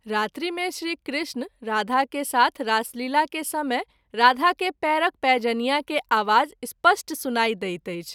रात्रि मे श्री कृष्ण राधा के साथ रासलीला के समय राधा के पैरक पैंजनिया के आवाज स्पष्ट सुनाई दैत अछि।